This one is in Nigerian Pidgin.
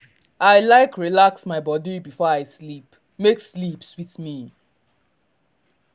i like relax my body before i sleep make sleep sweet me.